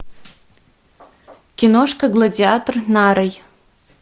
киношка гладиатор нарой